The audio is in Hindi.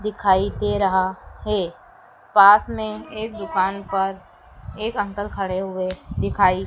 दिखाई दे रहा है पास में एक दुकान पर एक अंकल खड़े हुए दिखाई--